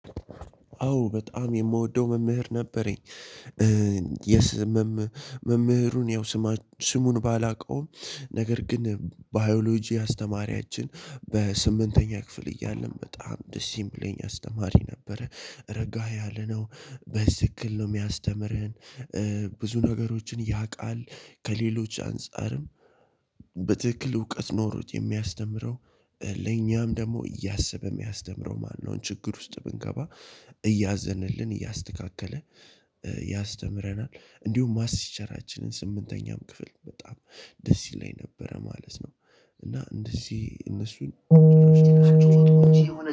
አዎ በጣም የምወደው መምህር ነበረኝ። የስ መምህሩን ያው ስማች ስሙን ባላውቀውም ነገር ግን ባዮሎጂ አስተማሪያችን በስምንተኛ ክፍል እያለን በጣም ደስ የምለኝ አስተማሪ ነበረ። ረጋ ያለ ነው። በስክል ነው የሚያስተምረን። ብዙ ነገሮችን ያውቃል ከሌሎች አንፃር በትክክል እውቀት ኖሮት የሚያስተምረው ለኛም ደግሞ እያሰበ የሚያስተምረው ማነው ችግር ውስጥ ብንገባ እያዘነልን እያስተካከለ ያስተምረናል። እንዲሁም ማትስ ቲቸራችን ስምንተኛም ክፍል በጣም ደስ ይለኝ ነበረ ማለት ነው እና እንደዚህ እነሱን